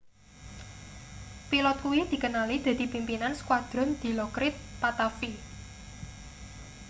pilot kuwi dikenali dadi pimpinan skuadron dilokrit pattavee